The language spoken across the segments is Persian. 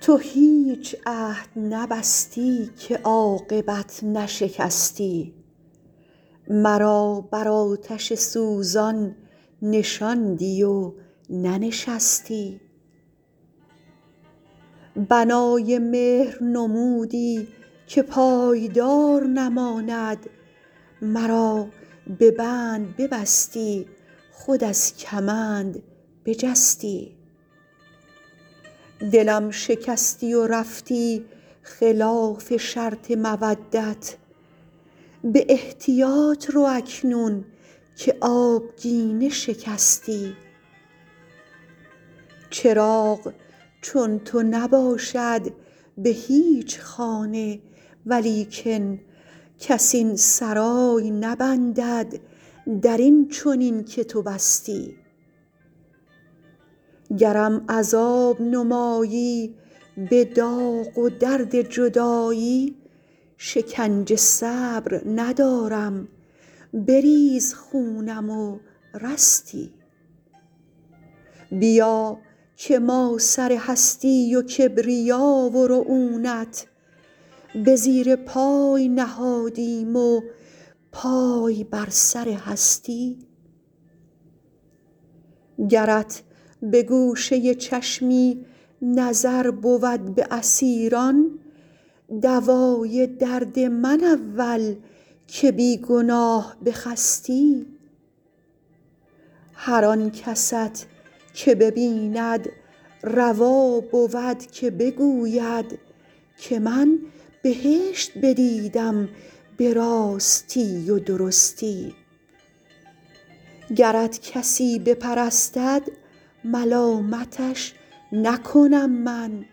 تو هیچ عهد نبستی که عاقبت نشکستی مرا بر آتش سوزان نشاندی و ننشستی بنای مهر نمودی که پایدار نماند مرا به بند ببستی خود از کمند بجستی دلم شکستی و رفتی خلاف شرط مودت به احتیاط رو اکنون که آبگینه شکستی چراغ چون تو نباشد به هیچ خانه ولیکن کس این سرای نبندد در این چنین که تو بستی گرم عذاب نمایی به داغ و درد جدایی شکنجه صبر ندارم بریز خونم و رستی بیا که ما سر هستی و کبریا و رعونت به زیر پای نهادیم و پای بر سر هستی گرت به گوشه چشمی نظر بود به اسیران دوای درد من اول که بی گناه بخستی هر آن کست که ببیند روا بود که بگوید که من بهشت بدیدم به راستی و درستی گرت کسی بپرستد ملامتش نکنم من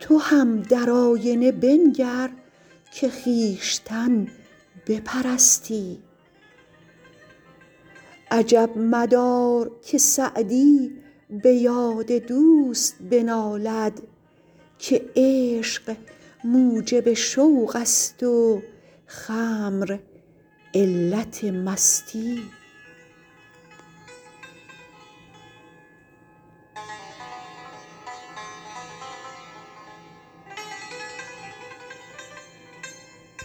تو هم در آینه بنگر که خویشتن بپرستی عجب مدار که سعدی به یاد دوست بنالد که عشق موجب شوق است و خمر علت مستی